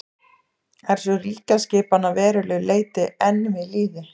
er sú ríkjaskipan að verulegu leyti enn við lýði